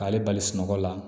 K'ale bali sunɔgɔ la